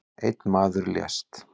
Einn maður lést